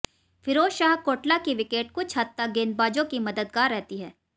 फिरोज शाह कोटला की विकेट कुछ हद तक गेंदबाजों की मददगार रहती है